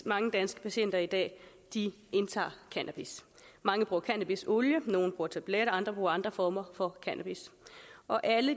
mange danske patienter i dag indtager cannabis mange bruger cannabisolie nogle bruger tabletter andre bruger andre former for cannabis og alle